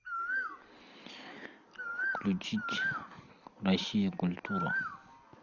включить россия культура